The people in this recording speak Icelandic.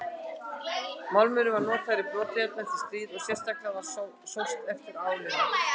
Málmurinn var notaður í brotajárn eftir stríð og sérstaklega var sóst eftir álinu.